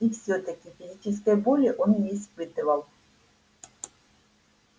и всё-таки физической боли он не испытывал